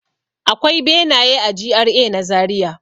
Akwai benaye a GRA na Zariya.